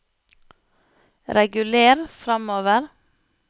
reguler framover